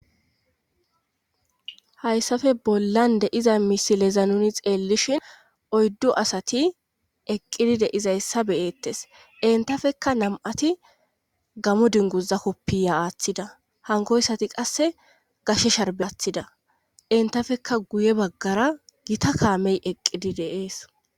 Hayssafe bollan de'iza misileza nuni xeellishin oyddu asati eqqidi de izayssa beyettes entafekka nam'ati gamo dingoza koppiya aaththida hankoyssati qasse gashe sharbeathida entafekka guye baggara gita kaamey eqqidi deees.